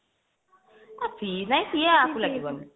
ଲାଗିବନି